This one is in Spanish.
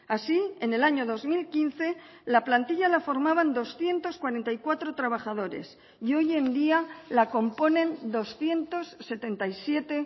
así en el año dos mil quince la plantilla la formaban doscientos cuarenta y cuatro trabajadores y hoy en día la componen doscientos setenta y siete